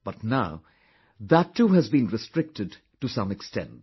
but now, that too has been restricted to some extent